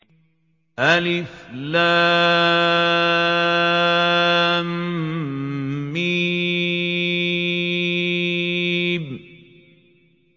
الم